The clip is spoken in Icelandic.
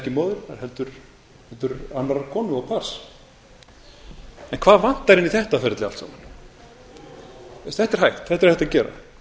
ekki móðurinnar heldur annarrar konu og barns en hvað vantar inn í þetta ferli allt saman þetta er hægt þetta er hægt að gera